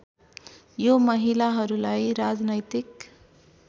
यो महिलाहरूलाई राजनैतिक